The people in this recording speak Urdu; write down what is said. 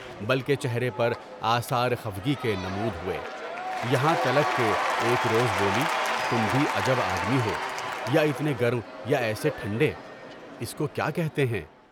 بلکہ چہرے پر آثارِ خفگی کے نمود ہوئے، یہاں تلک کہ ایک روز بولی تم بھی عجب آدمی ہو، یا اتنے گرم یا ایسے ٹھنڈے، اس کو کیا کہتے ہیں؟